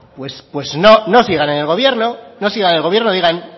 pues no no sigan en el gobierno no sigan en el gobierno digan